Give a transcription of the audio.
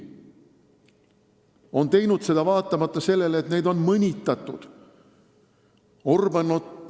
Nad on teinud seda vaatamata sellele, et neid on mõnitatud.